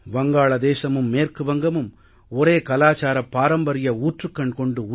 வங்காளதேசமும் மேற்கு வங்கமும் ஒரே கலாச்சாரப் பாரம்பரிய ஊற்றுக்கண் கொண்டு